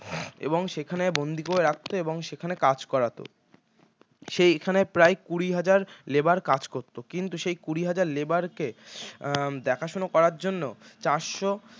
এবং সেখানে বন্দি করে রাখতো এবং সেখানে কাজ করাতো সেখানে প্রায় কুড়িহাজার labour কাজ করত কিন্তু সেই কুড়িহাজার labour কে দেখাশোনা করার জন্য চারশো